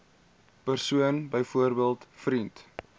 persoon byvoorbeeld vriend